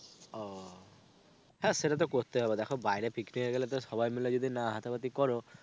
ও হ্যাঁ সেটা তো করতেই হবে দেখো বাইরে picnic এ গেলে সবাই মিলে যদি না হাতা পাতি করো,